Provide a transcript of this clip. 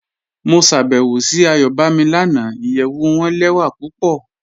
Mo ṣàbẹ́wò sí Ayọ̀bámí lànà, ìyẹ̀wù wọn lẹwa pupọ.